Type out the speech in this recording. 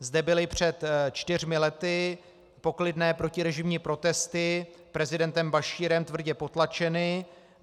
Zde byly před čtyřmi lety poklidné protirežimní protesty prezidentem Bašírem tvrdě potlačeny.